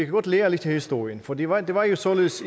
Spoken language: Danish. godt lære lidt af historien for det var det var jo således